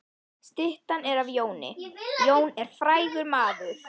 Styttan er af Jóni. Jón er frægur maður.